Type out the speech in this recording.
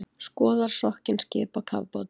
Skoðar sokkin skip á kafbátum